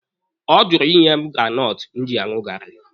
Ọ jụrụ ịnye m granọtụ m ji aṅụ gaarị